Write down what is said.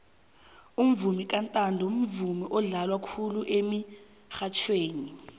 umvomo kantanto mvumo odlalwa khulu emitjhadweni